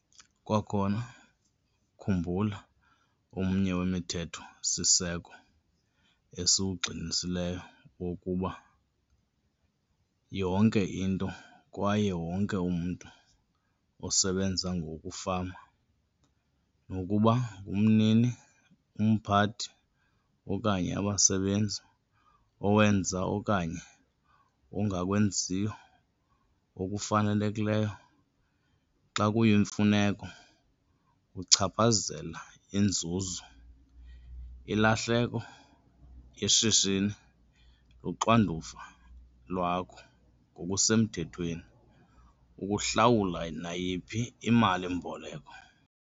Kwakhona, khumbula omnye wemithetho-siseko esiwugxininisileyo wokuba yonke into kwaye wonke umntu, osebenza ngokufama, nokuba ngumnini - umphathi okanye abasebenzi, owenza okanye ongakwenziyo okufanelekileyo xa kuyimfuneko, uchaphazela inzuzo - ilahleko yeshishini. Luxanduva lwakho ngokusemthethweni ukuhlawula nayiphi imali-mboleko.